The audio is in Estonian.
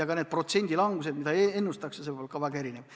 Kõik need langusprotsendid, mida ennustatakse, on väga erinevad.